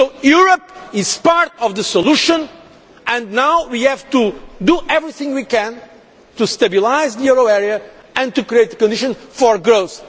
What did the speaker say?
So Europe is part of the solution and now we have to do everything we can to stabilise the euro area and to create the conditions for growth.